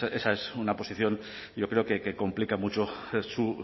pues esa es una posición yo creo que complica mucho su